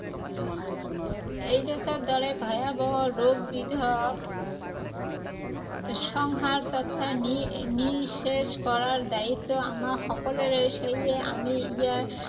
এইড্‌ছৰ দৰে ভয়াৱহ ৰোগবিধক সংহাৰ তথা নিঃ নিঃশেষ কৰাৰ দায়িত্ব আমাৰ সকলোৰে। সেয়ে আমি ইয়াৰ